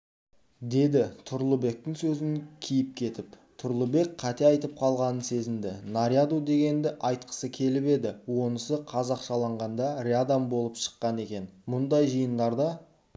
деді тұрлыбектің сөзін киіп кетіп тұрлыбек қате айтып қалғанын сезінді наряду дегенді айтқысы келіп еді онысы қазақшылағанда рядом болып шыққан екен мұндай жиындарда